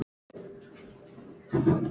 Hann þóttist ansi góður.